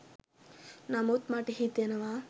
නමුත් මට හිතෙනවා